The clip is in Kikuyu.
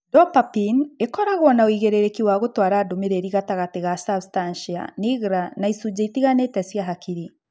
Dopapine ĩkoragwo na ũigĩrĩrĩki wa gũtwara ndũmĩrĩri gatagatĩ ga substantia nigra na icunjĩ itiganĩte cia hakiri